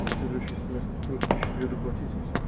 за следующий семестр тоже тысячи две доплатить и всё